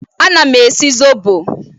Ana m esi zọbọ